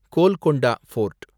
Golconda board